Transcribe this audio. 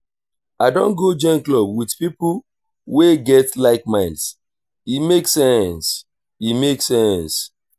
i don go join club with pipo wey get like-minds e make sense. e make sense.